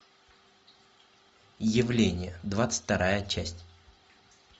явление двадцать вторая часть